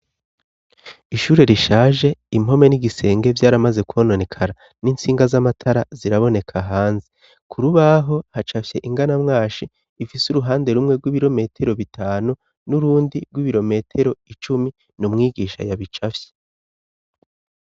Ishure rishaje impome n'igisenge vyaramaze kononekara n'intsinga z'amatara ziraboneka hanze ku rubaho hacafye inganamwashi ifise uruhande rumwe rw'ibirometero bitanu n'urundi rw'ibirometero icumi n'umwigisha ya bicafye.